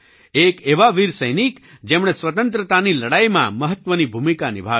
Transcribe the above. એક એવા વીર સૈનિક જેમણે સ્વતંત્રતાની લડાઈમાં મહત્ત્વની ભૂમિકા નિભાવી